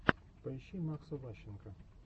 поищи макса ващенко